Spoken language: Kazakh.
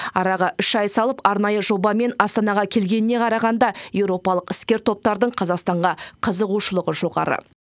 араға үш ай салып арнайы жобамен астанаға келгеніне қарағанда еуропалық іскер топтардың қазақстанға қызығушылығы жоғары